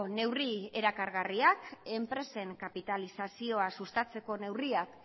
neurri erakargarriak enpresen kapitalizazioa sustatzeko neurriak